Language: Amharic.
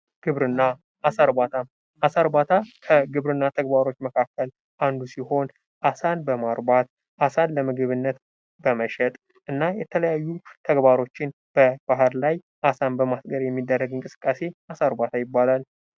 ግብርና አሳ እርባታ ከግብርና ተግባሮች መካከል አንዱ ሲሆን አሳን በማርባት አሳን ለምግብነት በመሸጥ እና የተለያዩ ተግባሮችን በባህር ላይ አሳን በማስገር የሚደረግ እንቅስቃሴ አሳ እርባት ይባላል።